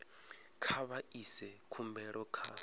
kha vha ise khumbelo kha